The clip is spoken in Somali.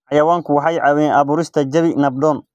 Xayawaanku waxay caawiyaan abuurista jawi nabdoon.